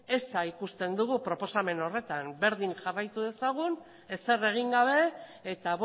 eza ikusten dugu proposamen horretan berdin jarraitu dezagun ezer egin gabe eta